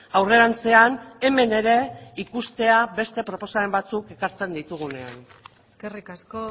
aurrerantzean hemen ere ikustea beste proposamen batzuk ekartzen ditugunean eskerrik asko